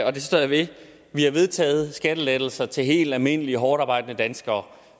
og det står jeg ved at vi har vedtaget skattelettelser til helt almindelige hårdtarbejdende danskere